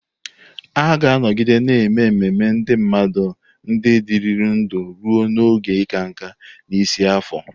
A ga-anọgide na-eme ememe ndị mmadụ ndị dịrị ndụ ruo n'oge ịka nká, n'isi afọ.